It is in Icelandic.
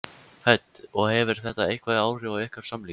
Hödd: Og hefur þetta eitthvað áhrif á ykkar samlíf?